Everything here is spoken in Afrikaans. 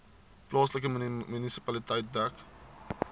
plaaslike munisipaliteit dek